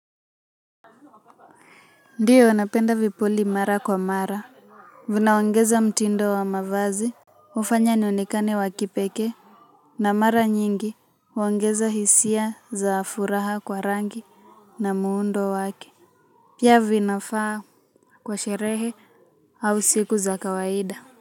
Ndiyo napenda vipuli mara kwa mara vinaongeza mtindo wa mavazi hufanya niokane wa kipekee na mara nyingi huongeza hisia za furaha kwa rangi na muundo wake pia vinafaa kwa sherehe au siku za kawaida.